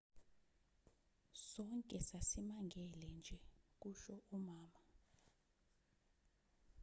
sonke sasimangele nje kusho umama